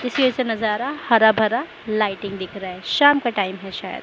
इसलिए इसे नजारा हरा भरा लाइटिंग दिख रहा है शाम का टाइम है शायद।